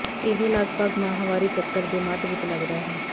ਇਹ ਲਗਭਗ ਮਾਹਵਾਰੀ ਚੱਕਰ ਦੇ ਮੱਧ ਵਿੱਚ ਲਗਦਾ ਹੈ